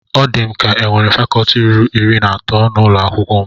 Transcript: Ọ di m ka enwere fakọtị ruru iri na atọ n'ụlọ akwụkwọ m